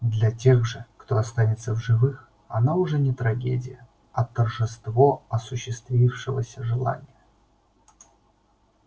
для тех же кто останется в живых она уже не трагедия а торжество осуществившегося желания